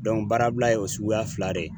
baarabila ye o suguya fila de ye.